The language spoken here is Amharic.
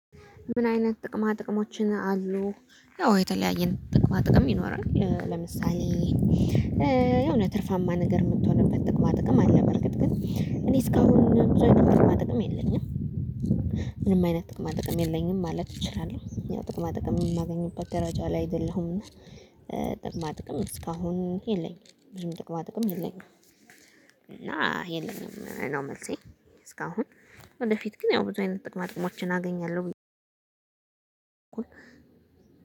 ምን አይነት ጥቅማ ጥቅሞችን አሉ? ያው የተለያየ ጥቅማ ጥቅም ይኖራል ለምሳሌ የሆነ ትርፋማ ነገር የምትሆንበት ጥቅማ ጥቅም አለ። በእርግጥ ግን እኔ እስካሁን ብዙ አይነት ጥቅማ ጥቅም የለኝም። ምንም አይነት ጥቅማ ጥቅም የለኝም ማለት እችላለሁ ያው ጥቅማ ጥቅም የማገኝበት ደረጃ ላይ አይደለሁም። ጥቅማ ጥቅም እስካሁን የለኝም ብዙም ጥቅማ ጥቅም የለኝም። እና የለኝም ነው መልሴ። እስካሁን ለወደፊት ግን ያው ብዙ አይነት ጥቅማ ጥቅሞችን አገኛለሁ።